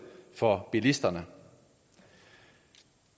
for bilisterne